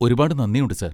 ഒരുപാട് നന്ദിയുണ്ട്, സാർ.